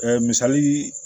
misali